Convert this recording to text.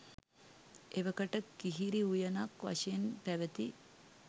එවකට කිහිරි උයනක් වශයෙන් පැවැති